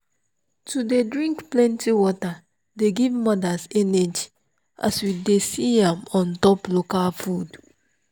to dey drink plenty water dey give mothers energy as we see am untop local food.